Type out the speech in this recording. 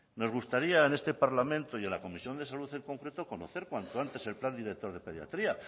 nos gustaría en este parlamento y en la comisión de salud en concreto conocer cuanto antes el plan director de pediatría